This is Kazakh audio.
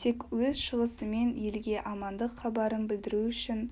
тек өз шығысымен елге амандық хабарын білдіру үшін